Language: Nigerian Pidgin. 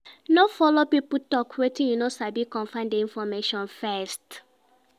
No follow pipo talk wetin you no sabi confirm di information first